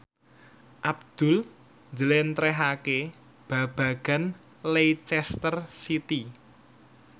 Abdul njlentrehake babagan Leicester City